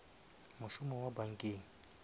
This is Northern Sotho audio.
mošomo wa bankeng